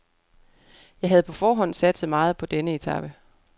Jeg havde på forhånd satset meget på denne etape.